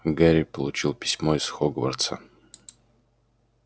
гарри получил письмо из хогвартса